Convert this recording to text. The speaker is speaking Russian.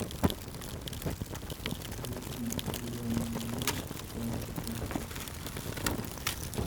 включи зеленая миля с томом хэнксом